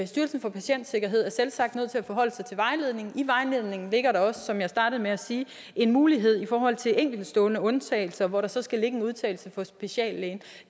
styrelsen for patientsikkerhed er selvsagt nødt til at forholde sig til vejledningen i vejledningen ligger der også som jeg startede med at sige en mulighed i forhold til enkeltstående undtagelser hvor der så skal ligge en udtalelse fra speciallægen